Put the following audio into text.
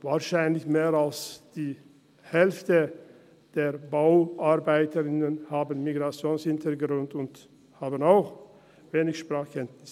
Wahrscheinlich haben mehr als die Hälfte der Bauarbeitenden einen Migrationshintergrund und auch wenig Sprachkenntnisse.